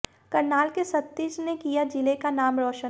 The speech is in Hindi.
करनाल के सतीश ने किया जिले का नाम रोशन